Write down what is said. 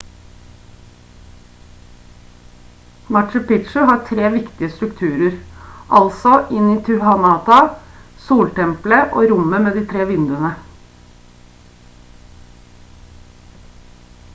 machu picchu har 3 viktige strukturer altså intihuatana soltempelet og rommet med de tre vinduene